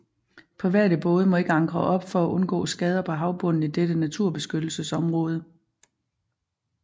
Private både må ikke ankre op for at undgå skader på havbunden i dette naturbeskyttelsesområde